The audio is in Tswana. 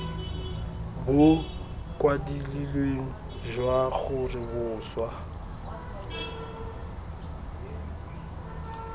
bo kwadilweng jwa gore boswa